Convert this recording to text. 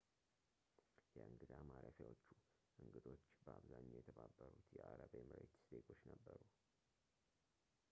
የእንግዳ ማረፊያዎቹ እንግዶች በአብዛኛው የተባበሩት የአረብ ኤምሬት ዜጎች ነበሩ